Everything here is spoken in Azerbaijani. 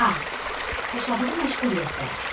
A xoşladığı məşğuliyyətlər.